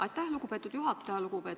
Aitäh, lugupeetud juhataja!